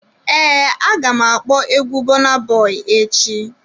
Ee, aga m akpọ egwu Burna Boy echi.